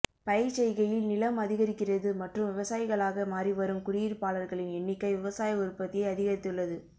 பயிர்ச்செய்கையில் நிலம் அதிகரிக்கிறது மற்றும் விவசாயிகளாக மாறி வரும் குடியிருப்பாளர்களின் எண்ணிக்கை விவசாய உற்பத்தியை அதிகரித்துள்ளது